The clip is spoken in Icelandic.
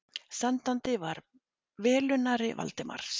Sendandi var velunnari Valdimars.